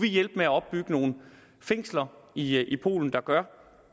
hjælpe med at opbygge nogle fængsler i i polen der gør